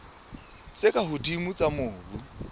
tse ka hodimo tsa mobu